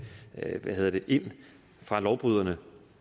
ind fra lovbryderne